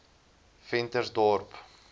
ventersdorp